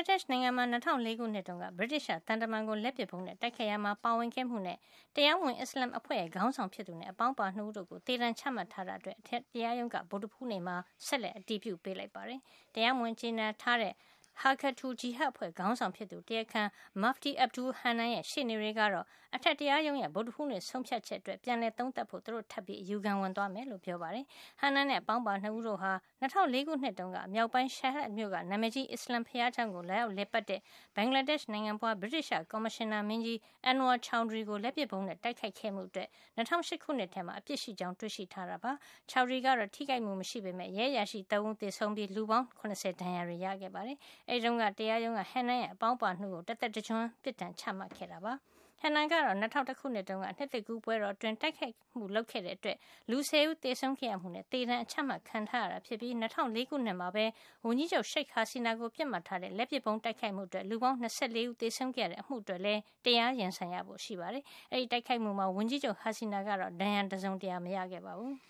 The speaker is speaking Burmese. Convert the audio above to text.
ှ် နိုင်ငံမှာ ၂၀၀၄ ခုနှစ်တုန်းက ဗြိတိသျှ သံတမန်ကို လက်ပစ်ဗုံးနဲ့ တိုက်ခိုက်ခဲ့ရာမှာ ပါဝင်ခဲ့မှုနဲ့ တရားမဝင် အစ္စလာမ်အဖွဲ့ရဲ့ ခေါင်းဆောင်ဖြစ်သူနဲ့ အပေါင်းအပါ ၂ ဦး တို့ကို သေဒဏ်ချမှတ်ထားတာအတွက် အထက်တရားရုံးက ဗုဒ္ဓဟူးနေ့မှာ ဆက်လက် အတည်ပြု ပေးလိုက်ပါတယ်။ တရားမဝင်ကြေညာထားတဲ့ Harkatul Jihad အဖွဲ့ခေါင်းဆောင်ဖြစ်သူ တရားခံ Mufti Abdul Hannan ရဲ့ ရှေ့နေတွေကတော့ အထက်တရားရုံးရဲ့ ဗုဒ္ဓဟူးနေ့ ဆုံးဖြတ်ချက်အတွက် ပြန်လည် သုံးသပ်ပေးဖို့ သူတို့ ထပ်ပြီး အယူခံဝင်သွားမယ်လို့ ပြောပါတယ်။ Hannan နဲ့ အပေါင်းပါ ၂ ဦးတို့ဟာ ၂၀၀၄ ခုနှစ်တုန်းက မြောက်ပိုင်း Sylhet မြို့က နာမည်ကြီး အစ္စလာမ်ဘုရားကျောင်းကို လာရောက် လည်ပတ်တဲ့ ဘင်္ဂလားဒေ့ရှ် နိုင်ဖွား ဗြိတိသျှ ကော်မရှင်နာမင်းကြီး Anwar Choudhury ကို လက်ပစ်ဗုံးနဲ့ တိုက်ခိုက်ခဲ့မှုအတွက် ၂၀၀၈ ခုနှစ်ထဲမှာ အပြစ်ရှိကြောင်း တွေ့ရှိထားတာ ဖြစ်ပါတယ်။ Choudhry ကတော့ ထိခိုက်မှု မရှိခဲ့ပေမဲ့ ရဲအရာရှိ ၃ ဦး သေဆုံးခဲ့ရပြီး လူပေါင်း ၇၀ ဒဏ်ရာတွေ ရခဲ့တာ ဖြစ်ပါတယ်။ အဲဒီတုန်းက တရားရုံးက Hannan ရဲ့ အပေါင်းပါ ၂ ဦးကို တသက်တကျွန်းပြစ်ဒဏ် ချမှတ်ခဲ့ပါတယ်။ Hannan ကတော့ ၂၀၀၁ ခုနှစ်တုန်းက နှစ်သစ်ကူး ပွဲတော်အတွင်း တိုက်ခိုက်မှုလုပ်ခဲ့တဲ့အတွက် လူ ၁၀ ဦး သေဆုံးခဲ့ရမှုနဲ့ သေဒဏ် အချမှတ်ခံထားရတာဖြစ်ပြီး၊ ၂၀၀၄ ခုနှစ်မှာပဲ ဝန်ကြီးချုပ် Sheil Hasina ကို ပစ်မှတ်ထားတဲ့ လက်ပစ်ဗုံးနဲ့ တိုက်ခိုက်မှုအတွင်း လူပေါင်း ၂၄ ဦး သေဆုံးခဲ့ရတဲ့ အမှုအတွက်လည်း တရားရင်ဆိုင်ရဖို့ ရှိပါတယ်။ အဲဒီတိုက်ခိုက်မှုမှာ ဝန်ကြီးချုပ် Hasina ကတော့ ဒဏ်ရာ တစုံတရာ မရခဲ့ပါဘူး